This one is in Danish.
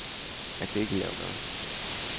Jeg kan ikke lave mad.